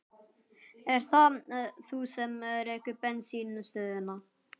Ert það þú sem rekur bensínstöðina?